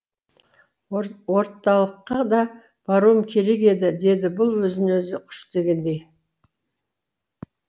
орталылыққа да баруым керек еді деді бұл өзін өзі күштегендей